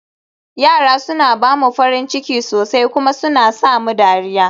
yara suna ba mu farin ciki sosai kuma suna sa mu dariya